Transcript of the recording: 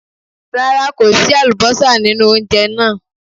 Rárá, kò sí àlùbọ́sà nínú ounjẹ náà.